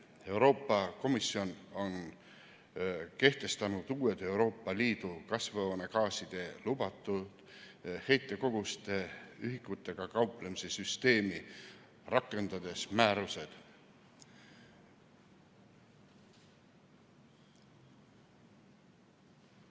Euroopa Komisjon on kehtestanud uue Euroopa Liidu kasvuhoonegaaside lubatud heitkoguse ühikutega kauplemise süsteemi, rakendades määruseid.